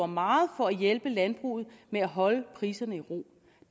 meget for at hjælpe landbruget med at holde priserne i ro